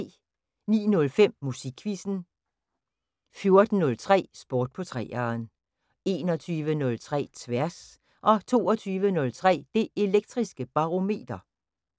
09:05: Musikquizzen 14:03: Sport på 3'eren 21:03: Tværs 22:03: Det Elektriske Barometer